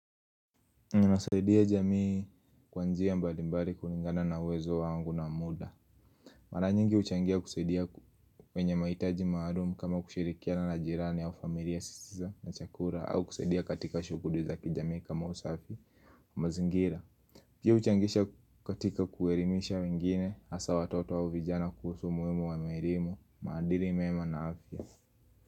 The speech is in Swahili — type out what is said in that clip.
Nasaidia jamii kwa njia mbalimbali kulingana na uwezo wangu na muda Mara nyingi uchangia kusaidia kwenye mahitaji maalum kama kushirikiana na jirani au familia zisizo na chakula au kusaidia katika shughuli za kijamii kama usafi mazingira pia uchangisha katika kuelimisha wengine hasa watoto au vijana kuhusu umuhimu wa elimu, maandili mema na afya.